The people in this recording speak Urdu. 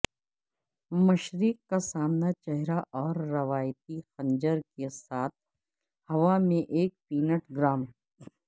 مشرق کا سامنا چہرہ اور روایتی خنجر کے ساتھ ہوا میں ایک پینٹگرام